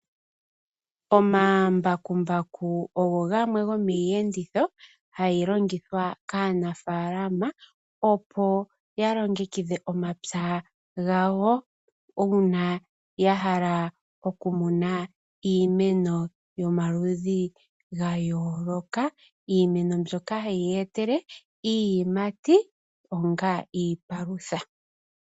Omambakumbaku ogo gamwe gomiiyenditho hayi longithwa kaanafaalama, opo ya longekidhe omapya gawo uuna ya hala okumuna iimeno yomaludhi gayooloka. Iimeno mbyoka hayi ya etele iiyimati onga iipalutha.